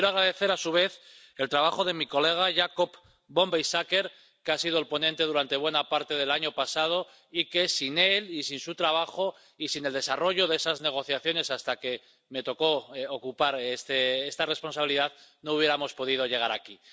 Quiero agradecer, a su vez, el trabajo de mi colega Jakob von Weizsäcker, que ha sido el ponente durante buena parte del año pasado y que sin él y sin su trabajo y sin el desarrollo de esas negociaciones —hasta que me tocó ocupar esta responsabilidad— no hubiéramos podido llegar aquí.